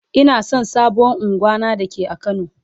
Ina son sabon ungwan na da ke a kano.